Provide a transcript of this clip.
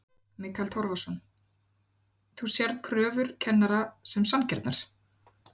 Mikael Torfason: Þú sérð kröfur kennara sem sanngjarnar?